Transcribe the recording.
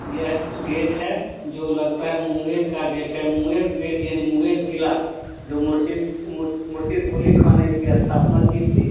यह गेट है जो लगता है मुंगेर का गेट है मुंगेर गेट यानी मुंगेर किला जो मुरसिद मुरसिद कुली खां ने इसकी स्थापना की थी।